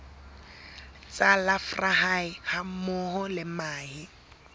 tsa larvae hammoho le mahe